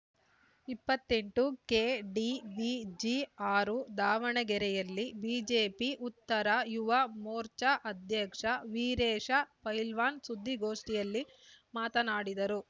ಇಪ್ಪತ್ತೆಂಟು ಕೆಡಿವಿಜಿ ಆರು ದಾವಣಗೆರೆಯಲ್ಲಿ ಬಿಜೆಪಿ ಉತ್ತರ ಯುವ ಮೋರ್ಚಾ ಅಧ್ಯಕ್ಷ ವೀರೇಶ ಪೈಲ್ವಾನ್‌ ಸುದ್ದಿಗೋಷ್ಠಿಯಲ್ಲಿ ಮಾತನಾಡಿದರು